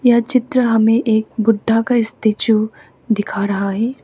यह चित्र हमें एक बुद्ध का स्टैचू दिखा रहा है।